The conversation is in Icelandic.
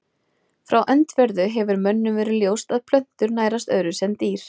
Frá öndverðu hefur mönnum verið ljóst að plöntur nærast öðruvísi en dýr.